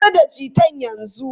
Matsar da guitar yanzu!